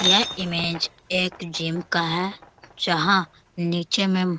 यह इमेज एक जिम का है जहां नीचे मे ---